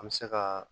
An bɛ se ka